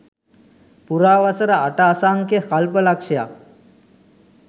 පුරා වසර අට අසංඛ්‍ය කල්ප ලක්ෂයක්